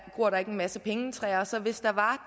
gror der ikke en masse pengetræer så hvis der var